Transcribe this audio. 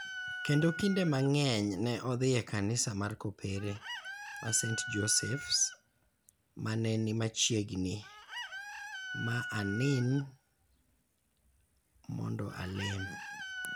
kendo kinde mang�eny ne odhi e Kanisa mar Kopere ma St Joseph�s ma ne ni machiegni, ma Anin, mondo alem.